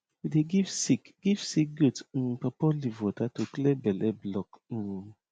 we dey give sick give sick goat um pawpaw leaf water to clear belle block um